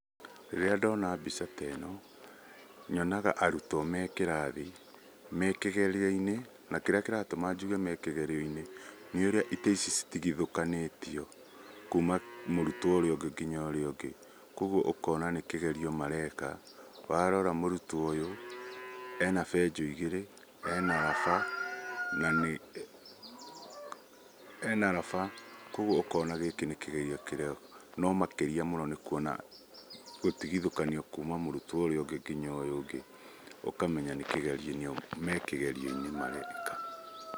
Rĩrĩa ndona mbica ta ĩno, nyonaga arutwo me kĩrathi, me kĩgerio-inĩ, na kĩrĩa kĩratũma njuge me kĩgerio-inĩ, nĩ ũrĩa itĩ ici citigithũkanĩtio, kuuma mũrutwo ũrĩa ũngĩ nginya ũrĩa ũngĩ, koguo ũkona nĩ kĩgerio mareka, warora mũrutwo ũyũ, ena benjũ igĩrĩ, ena raba, na nĩ ena raba koguo ũkona gĩkĩ nĩ kĩgerio kĩrekwo, no makĩria mũno nĩ kuona gũtigithũkanio kuuma mũrutwo ũrĩa ũngĩ nginya ũyũ ũngĩ ũkamenya nĩ kĩgerio-inĩ me kĩgerio-inĩ mareka.